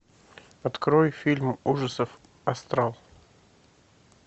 открой фильм ужасов астрал